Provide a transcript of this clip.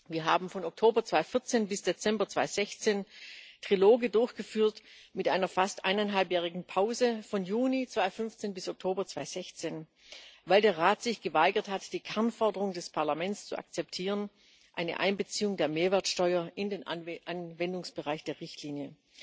Wir haben von Oktober 2014 bis Dezember 2016 Triloge durchgeführt mit einer fast eineinhalbjährigen Pause von Juni 2015 bis Oktober 2016, weil der Rat sich geweigert hat, die Kernforderung des Parlaments zu akzeptieren eine Einbeziehung der Mehrwertsteuer in den Anwendungsbereich der Richtlinie.